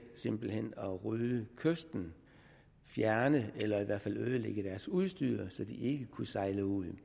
simpelt hen at rydde kysten fjerne eller i hvert fald ødelægge deres udstyr så de ikke kunne sejle ud